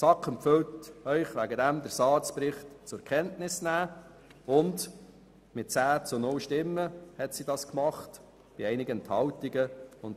Die SAK empfiehlt Ihnen deshalb mit 10 zu 0 Stimmen bei einigen Enthaltungen, den SARZ-Bericht zur Kenntnis zu nehmen.